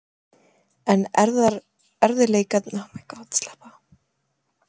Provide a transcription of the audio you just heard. En erfiðleikarnir voru þó ekki langt undan.